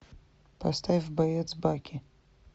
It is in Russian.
поставь боец баки